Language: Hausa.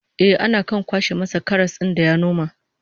Eh, ana kan kwaso masa karas din da ya noma